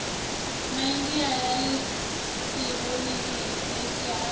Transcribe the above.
midia ya elekitironiki nemisa o